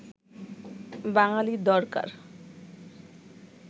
বাঙ্গালী দরকার